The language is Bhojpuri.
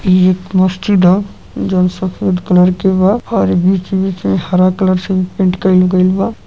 ई एक मस्जिद ह जौन सफ़ेद क्लर के बा और बीच-बीच में हरा क्लर से भी पेन्ट कइल गइल बा।